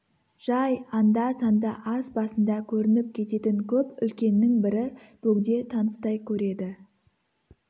жай анда-санда ас басында көрініп кететін көп үлкеннің бірі бөгде таныстай көреді